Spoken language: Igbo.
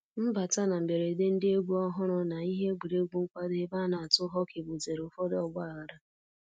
Mbata na mberede ndị egwu ọhụrụ na ihe egwuregwu nkwado ebe a na-atụ hockey butere ụfọdụ ọgbaghara